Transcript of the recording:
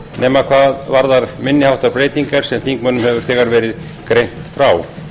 nema hvað varðar minni háttar breytingar sem þingmönnum hefur þegar verið greint frá